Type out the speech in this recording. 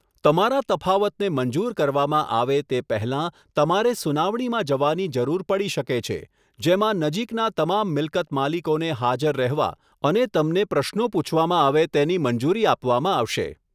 તમારા તફાવતને મંજૂર કરવામાં આવે તે પહેલાં તમારે સુનાવણીમાં જવાની જરૂર પડી શકે છે, જેમાં નજીકના તમામ મિલકત માલિકોને હાજર રહેવા અને તમને પ્રશ્નો પૂછવામાં આવે તેની મંજૂરી આપવામાં આવશે.